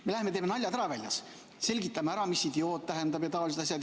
Me läheme teeme väljas naljad ära, selgitame ära, mis idioot tähendab jms.